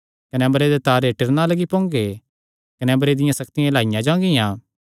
कने अम्बरे ते तारे टिरणा लग्गी पोंगे कने अम्बरे दियां सक्तियां हिलाईयां जांगियां